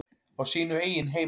Á sínu eigin heimili.